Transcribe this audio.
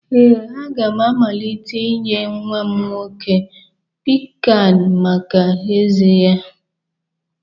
Ee, a ga m amalite inye nwa m nwoke piccan maka ezé ya